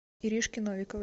иришки новиковой